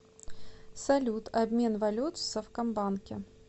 салют обмен валют в совкомбанке